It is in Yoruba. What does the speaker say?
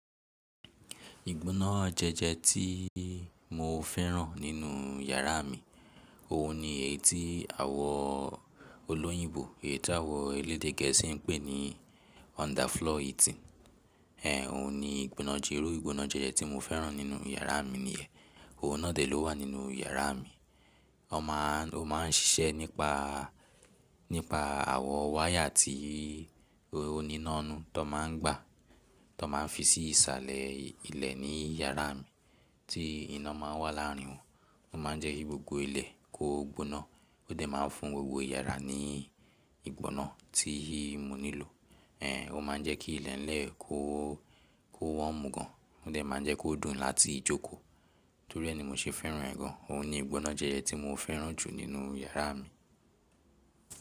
Ìgbóná jẹjẹ tí mo fẹ́ràn nínú yàrá mi, òun ni èyí tí àwọn olóyìnbo, èyí tí àwọn elédè gẹ̀ẹ́sì ń pè ní underfloor heating. Ẹn, òun ni ìgbóná jẹrú ìgbóná jẹjẹ tí mo fẹ́ràn nínú yàrá mi níyẹ́. Òun náà dè ló wà nínú yàrá mi. Ó máa n ṣiṣẹ́ nípa, nípa àwọ̀ wáyà tí ó ní iná inú tó máa ń gbà, tó máa ń fi sí ìsàlẹ̀ ilẹ̀ ní yàrá mi tí iná máa ń wà láàrin wọn. Ó máa ń jẹ́ gbogbo ilẹ̀ kó gboná, ó dè máa ń fún gbogbo yàrá ní ìgbóná tí mo nílò. Ẹn, ó máa ń jẹ́ kí ilẹ̀ lẹ́ẹ̀ kó, kó wọ́nmu gan, ó dè máa ń jẹ́ kó dùn láti jókòó. Torí ẹ ni mo ṣe fẹ́ràn ẹ gan. Òun ni ìgbóná jẹjẹ tí mo fẹ́ràn jù nínú yàrá mi.